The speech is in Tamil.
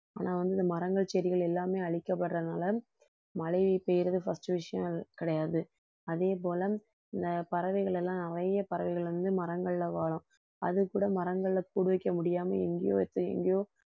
ஆனா வந்து இந்த மரங்கள் செடிகள் எல்லாமே அழிக்கப்படுறதுனால மழை பெய்யறது first விஷயம், அது கிடையாது அதே போல இந்த பறவைகள் எல்லாம் நிறைய பறவைகள் வந்து மரங்கள்ல வாழும் அதுக்கு கூட மரங்கள்ல கூடு வைக்க முடியாம எங்கயோ வச்சு எங்கயோ